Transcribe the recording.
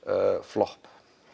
flopp